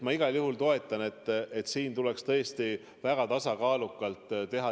Ma igal juhul toetan, et siin tuleks muutusi teha tõesti väga tasakaalukalt.